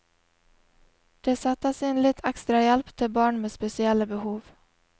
Det settes inn ekstra hjelp til barn med spesielle behov.